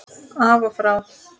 Af og frá.